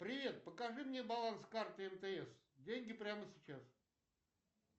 привет покажи мне баланс карты мтс деньги прямо сейчас